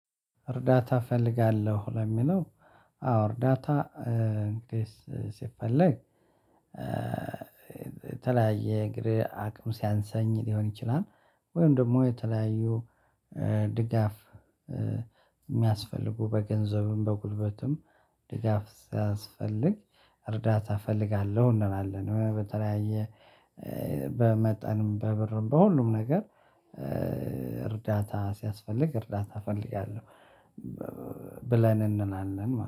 እርዳታ እፈልጋለሁ። ለሚለው አዎ እርዳታ እንግዲህ ሲፈለግ የተለያየ እግር አቅም ሲያንሰኝ ሊሆን ይችላል። ወይም ደግሞ የተለያዩ ድጋፍ የሚያስፈልጉ በገንዘብም፣ በጉልበትም ድጋፍ ስያስፈልግ እርዳታ እፈልጋለሁ። እንላለን በተለያየ በመጠንም በብርም በሁሉም ነገር እርዳታ ሲያስፈልግ እርዳታ እፈልጋለሁ። ብለን እንናናለን ማለት